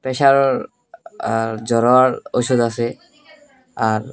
pressure আর জ্বরার ওষুধ আসে আর--